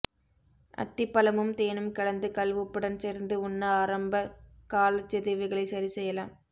அத்திப்பழமும் தேனும் கலந்து கல்உப்புடன் சேர்த்து உண்ண ஆரம்ப காலச்சிதைவுகளை சரி செய்யலாம்